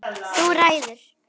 Þú ræður!